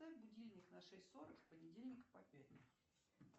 поставь будильник на шесть сорок с понедельника по пятницу